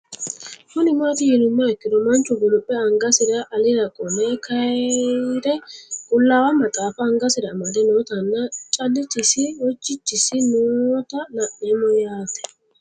Kuni mati yinumoha ikiro manch guliphe angasira alira qole kayire qulawa maxafa angasira amade nootana calichisi hojichisi noota la'nemo yaate